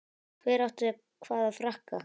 Hver átti hvaða frakka?